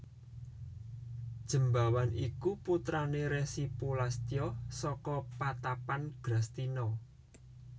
Jembawan iku putrané Resi Pulastya saka patapan Grastina